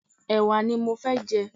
Ẹwà ní mọ fẹ́ jẹ.